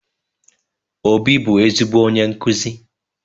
Obi bu ezigbo onye nkuzi